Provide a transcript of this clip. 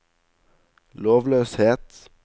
lovløshet